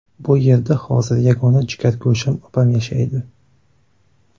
Bu yerda hozir yagona jigargo‘sham opam yashaydi.